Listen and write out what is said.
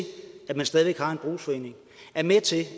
at man stadig væk har en brugsforening er med til